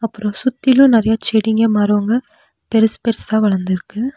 அப்றோம் சுத்திலும் நெறைய செடிங்க மரங்க பெருசு பெருசா வளர்ந்துருக்கு.